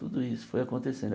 Tudo isso foi acontecendo.